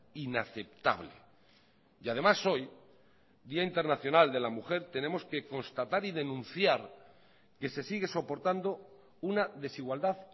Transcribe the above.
inaceptable y además hoy día internacional de la mujer tenemos que constatar y denunciar que se sigue soportando una desigualdad